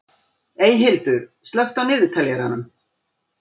Eyhildur, slökktu á niðurteljaranum.